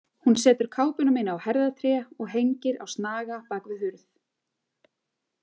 Hún setur kápuna mína á herðatré og hengir á snaga bak við hurð.